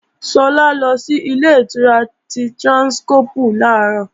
Sọlá lọ sí Ilé-ìtura ti Tráńskọ́pù làárọ̀